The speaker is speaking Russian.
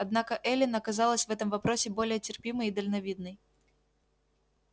однако эллин оказалась в этом вопросе более терпимой и дальновидной